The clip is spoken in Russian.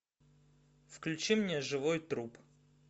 включи мне живой труп